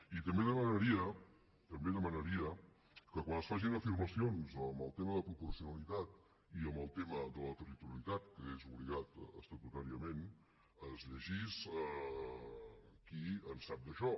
i també demanaria també demanaria que quan es facin afirmacions en el tema de proporcionalitat i en el tema de la territorialitat que són obligats estatutàriament es llegís qui en sap d’això